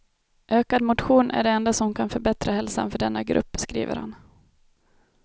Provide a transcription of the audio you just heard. Ökad motion är det enda som kan förbättra hälsan för denna grupp, skriver han.